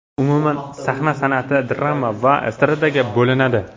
Umuman sahna san’ati drama va estradaga bo‘linadi.